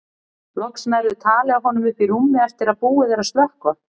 Loks nærðu tali af honum uppi í rúmi eftir að búið er að slökkva.